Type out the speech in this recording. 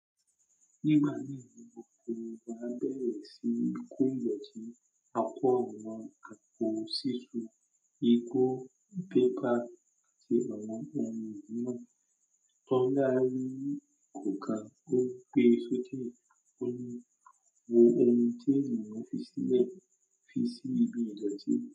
Nígbà náà ni okòwò á bẹ̀rẹ̀ sí í kó ìgbọ́ti, àpò àwọn àpò sísun, igbó, pépà àti àwọn ohun mìíràn tó ńlá rí kò ka ó pé sókè. Ó ní ohun tí èèyàn fi ṣílẹ̀ fi ṣí ibi ìdọ̀tí.